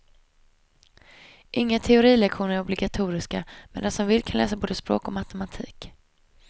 Inga teorilektioner är obligatoriska, men den som vill kan läsa både språk och matematik.